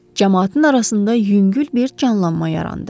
Camaatın arasında yüngül bir canlanma yarandı.